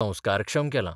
संस्कारक्षम केलां.